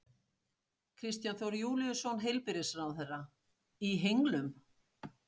Kristján Þór Júlíusson, heilbrigðisráðherra: Í henglum?